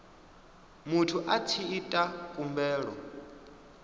muthu a tshi ita khumbelo